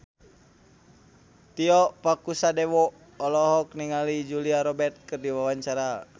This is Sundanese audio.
Tio Pakusadewo olohok ningali Julia Robert keur diwawancara